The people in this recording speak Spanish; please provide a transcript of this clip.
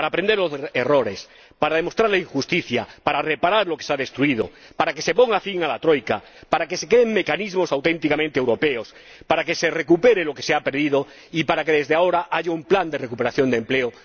Para aprender de los errores, para demostrar la injusticia, para reparar lo que se ha destruido, para que se ponga fin a la Troika, para que se creen mecanismos auténticamente europeos, para que se recupere lo que se ha perdido y para que, desde ahora, haya un plan de recuperación de empleo.